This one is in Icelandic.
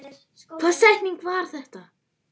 Hvaða setning var það?